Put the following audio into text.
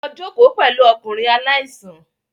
Lọ jókòó pẹ̀lú ọkùnrin aláìsàn